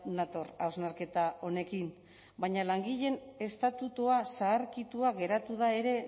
nator hausnarketa honekin baina langileen estatutua zaharkitua geratu da ere